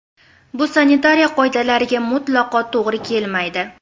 Bu sanitariya qoidalariga mutlaqo to‘g‘ri kelmaydi”.